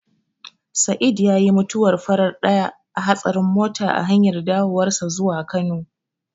Sa'eed yayi mutuwar farar ɗaya a hatsarin mota a hanyar dawowarsa zuwa Kano.